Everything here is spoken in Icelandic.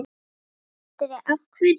Andri: Af hverju?